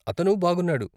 అతను బాగున్నాడు.